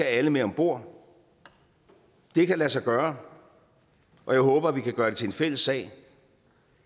alle med om bord det kan lade sig gøre og jeg håber at vi kan gøre det til en fælles sag